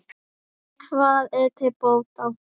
Hvað er til bóta?